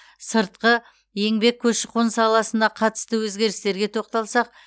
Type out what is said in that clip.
сыртқы еңбек көші қон саласына қатысты өзгерістерге тоқталсақ